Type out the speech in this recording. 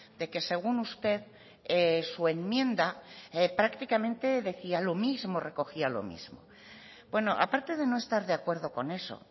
de que según usted su enmienda prácticamente decía lo mismo recogía lo mismo bueno aparte de no estar de acuerdo con eso